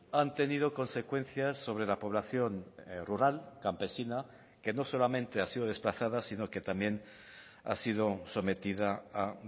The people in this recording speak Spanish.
han tenido consecuencias sobre la población rural campesina que no solamente ha sido desplazada sino que también ha sido sometida a